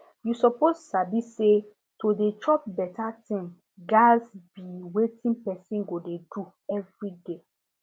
you suppose sabi say to dey chop better thing gats be wetin person go dey do every day